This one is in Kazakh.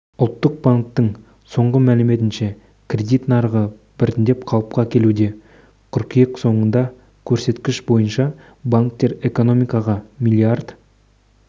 ұлттық банктің соңғы мәліметінше кредит нарығы біртіндеп қалыпқа келуде қыркүйек соңындағы көрсеткіш бойынша банктер экономикаға млрд